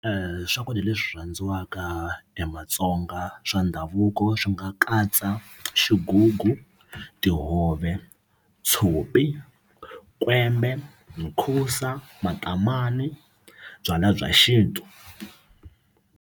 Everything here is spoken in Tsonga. swakudya leswi rhandziwaka hi matsonga swa ndhavuko swi nga katsa xigugu tihove tshopi kwembe mukhusa matomani byalwa bya xintu.